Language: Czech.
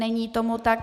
Není tomu tak.